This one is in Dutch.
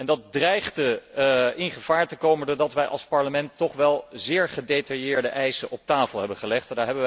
Dat dreigde in gevaar te komen, doordat wij als Parlement toch wel zeer gedetailleerde eisen op tafel hebben gelegd.